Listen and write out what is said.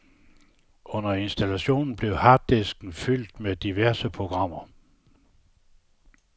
Under installationen bliver harddisken fyldt med diverse programmer.